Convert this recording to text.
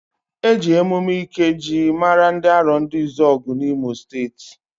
Eji emume ikejii mara ndị Arondizuoguuu na imo steeti.